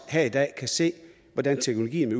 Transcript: her i dag kan se hvordan teknologien